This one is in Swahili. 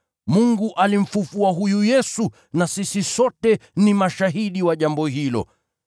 Mungu alimfufua huyu Yesu na sisi sote ni mashahidi wa jambo hilo.